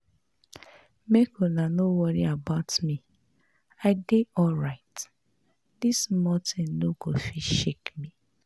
Make una no worry about me I dey alright, dis small thing no go fit shake me